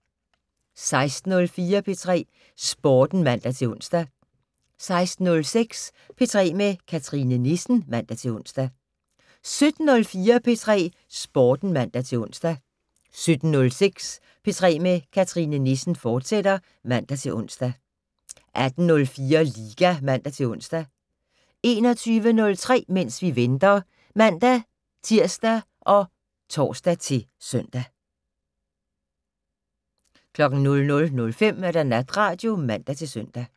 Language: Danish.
16:04: P3 Sporten (man-ons) 16:06: P3 med Cathrine Nissen (man-ons) 17:04: P3 Sporten (man-ons) 17:06: P3 med Cathrine Nissen, fortsat (man-ons) 18:04: Liga (man-ons) 21:03: Mens vi venter (man-tir og tor-søn) 00:05: Natradio (man-søn)